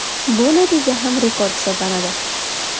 Bu natija ham rekord hisoblanadi .